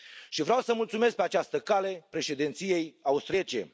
Și vreau să mulțumesc, pe această cale, președinției austriece.